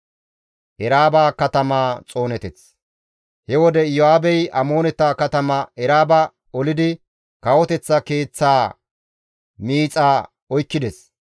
He wode Iyo7aabey Amooneta katama Eraaba olidi kawoteththa keeththaa miixa oykkides.